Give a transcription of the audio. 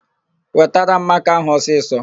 Wetara m makaa áhụ̀ ọsisọ!